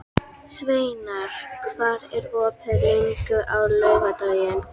Sveinar, hvað er opið lengi á laugardaginn?